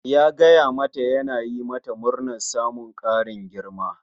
Ya gaya ma ta yana yi mata murnar samun ƙarin girma